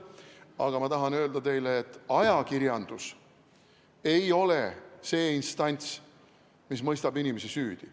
Aga ma tahan öelda teile, et ajakirjandus ei ole see instants, mis mõistab inimesi süüdi.